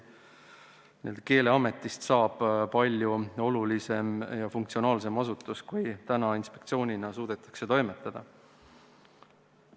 Keeleametist saab palju olulisem ja funktsionaalsem asutus, kui inspektsioonina suudetakse olla.